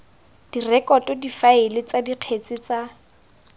direkoto difaele tsa dikgetse tsa